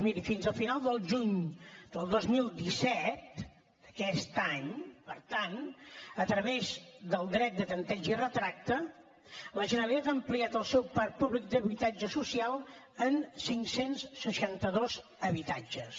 miri fins a final del juny del dos mil disset d’aquest any per tant a través del dret de tempteig i retracte la generalitat ha ampliat el seu parc públic d’habitatge social en cinc cents i seixanta dos habitatges